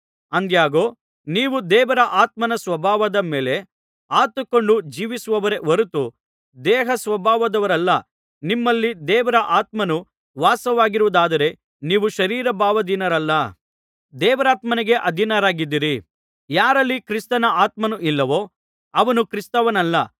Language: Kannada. ಆದಾಗ್ಯೂ ನೀವೂ ದೇವರ ಆತ್ಮನ ಸ್ವಭಾವದ ಮೇಲೆ ಆತುಕೊಂಡು ಜೀವಿಸುವವರೇ ಹೊರತು ದೇಹಸ್ವಭಾವದವರಲ್ಲಾ ನಿಮ್ಮಲ್ಲಿ ದೇವರ ಆತ್ಮನು ವಾಸವಾಗಿರುವುದಾದರೆ ನೀವು ಶರೀರ ಭಾವಾಧೀನರಲ್ಲ ದೇವರಾತ್ಮನಿಗೆ ಅಧೀನರಾಗಿದ್ದೀರಿ ಯಾರಲ್ಲಿ ಕ್ರಿಸ್ತನ ಆತ್ಮನು ಇಲ್ಲವೋ ಅವನು ಕ್ರಿಸ್ತನವನಲ್ಲ